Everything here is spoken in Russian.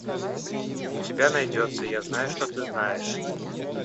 у тебя найдется я знаю что ты знаешь